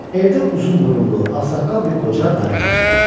Evdə uzun burunlu, ağsaqqal bir qoca məni qarşıladı.